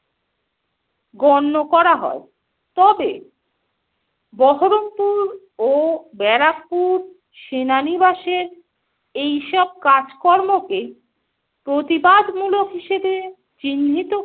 গণ্য করা হয়। তবে বহরমপুর ও ব্যারাকপুর সেনানিবাসের এইসব কাজকর্মকে প্রতিবাদ মূলক হিসেবে চিহ্নিত